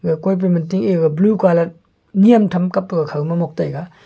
ega koipi manteh ega blue colour nyem tham kappa khawma mok taiga.